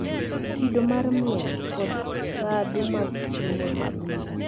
Kido mar miel, kod ndhadhu mag chiemo mag Luo